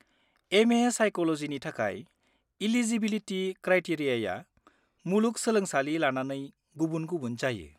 M.A. साइक'ल'जिनि थाखाय eligibility क्राइटेरियाआ मुलुगसोलोंसालि लानानै गुबुन-गुबुन जायो।